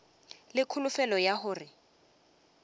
le kholofelo ya gore a